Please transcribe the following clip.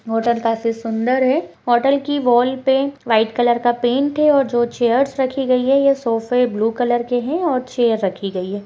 Hotel काफी सुंदर है होटल की वॉल पे व्हाइट कलर का पैंट है और जो चेयर्स रखी गयी है ये सोफे ब्लू कलर के है और चेयर रखी गयी है।